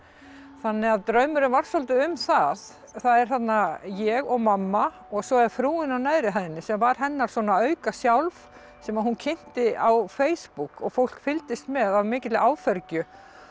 þannig að draumurinn var svolítið um það það er þarna ég og mamma og svo er frúin á neðri hæðinni sem var hennar svona auka sjálf sem hún kynnti á Facebook og fólk fylgdist með af mikilli áfergju